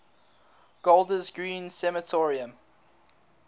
golders green crematorium